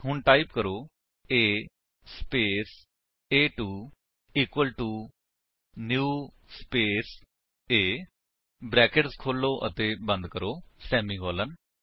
ਹੁਣ ਟਾਈਪ ਕਰੋ A space ਏ2 equal to new space A brackets ਖੋਲੋ ਅਤੇ ਬੰਦ ਕਰੋ ਸੇਮੀਕਾਲਨ